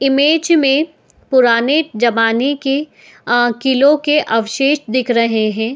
Image में पुराने जमाने के अ किलों के अवशेष दिख रहे हैं।